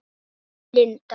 Þín, Linda.